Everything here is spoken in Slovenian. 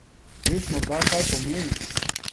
Veš morda kaj pomeni?